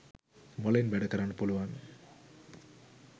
මොලෙන් වැඩ කරන්න පුළුවන්